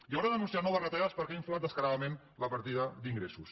i haurà d’anunciar noves retallades perquè ha inflat descaradament la partida d’ingressos